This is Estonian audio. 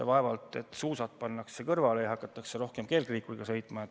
Vaevalt et suusad pannakse kõrvale ja hakatakse rohkem kergliikuriga sõitma.